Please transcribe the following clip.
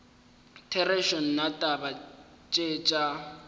therešo nna taba tše tša